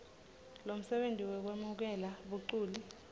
lomsebenti wekwemukela baculi